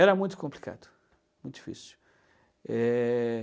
Era muito complicado, muito difícil. Eh...